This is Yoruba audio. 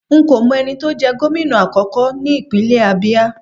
Nko mo eni to je gomina akoko nipinle Abia